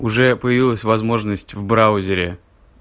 уже появилась возможность в браузере